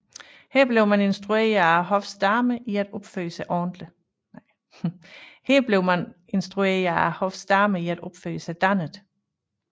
Her blev man instrueret af hoffets damer i at opføre sig dannet